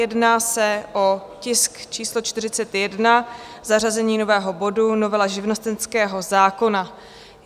Jedná se o tisk číslo 41, zařazení nového bodu Novela živnostenského zákona.